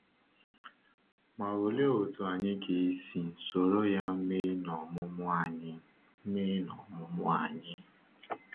Ma òlee otú anyị ga-esi soro ya mee n’ọmụmụ anyị? mee n’ọmụmụ anyị?